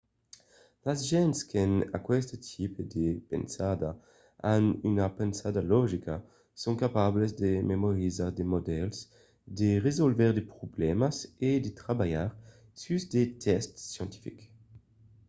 las gents qu'an aqueste tipe de pensada an una pensada logica son capables de memorizar de modèls de resòlvre de problèmas e de trabalhar sus de test scientifics